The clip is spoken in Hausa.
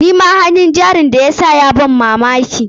Nima hannun jarin da ya sa ya ban mamaki.